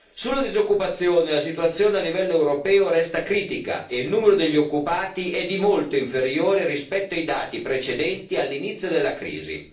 Sulla disoccupazione, la situazione a livello europeo resta critica e il numero degli occupati è di molto inferiore rispetto ai dati precedenti all'inizio della crisi.